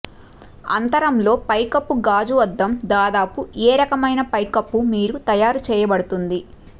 అంతరంలో పైకప్పు గాజు అద్దం దాదాపు ఏ రకమైన పైకప్పు మీద తయారు చేయబడుతుంది